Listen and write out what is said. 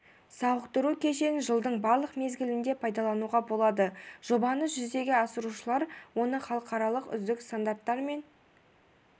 сауықтыру кешенін жылдың барлық мезгілінде пайдалануға болады жобаны жүзеге асырушылар оны халықаралық үздік стандарттар мен